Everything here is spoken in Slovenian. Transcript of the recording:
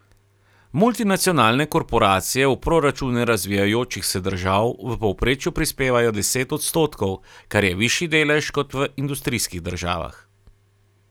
Multinacionalne korporacije v proračune razvijajočih se držav v povprečju prispevajo deset odstotkov, kar je višji delež kot v industrijskih državah.